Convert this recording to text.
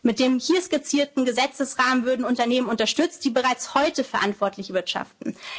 Planeten. Mit dem hier skizzierten Gesetzesrahmen würden Unternehmen unterstützt, die bereits heute verantwortlich